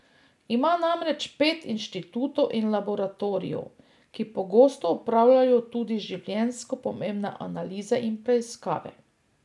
Ima namreč pet inštitutov in laboratorijev, ki pogosto opravljajo tudi življenjsko pomembne analize in preiskave.